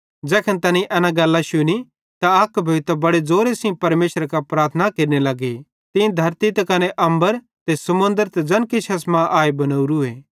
ज़ैखन तैनेईं एना गल्लां शुनी त अक भोइतां बड़े ज़ोरे सेइं परमेशरे कां प्रार्थना केरने लगे तीं धरती त कने अम्बर ते समुन्द्रे ते ज़ैन किछ एसमां आए बनोरूए